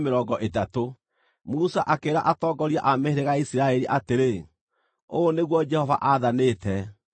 Musa akĩĩra atongoria a mĩhĩrĩga ya Isiraeli atĩrĩ: “Ũũ nĩguo Jehova aathanĩte: